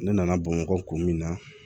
Ne nana bamakɔ kun min na